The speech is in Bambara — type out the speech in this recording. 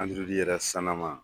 Androyidi yɛrɛ sanama.